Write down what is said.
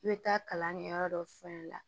I bɛ taa kalan kɛ yɔrɔ dɔ f'a ɲɛna